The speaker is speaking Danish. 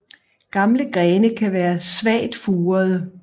Gamle grene kan være svagt furede